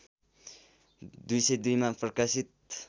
२०२ मा प्रकाशित